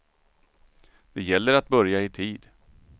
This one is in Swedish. Det gäller att börja i tid.